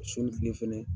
Sun ni kile fɛnɛ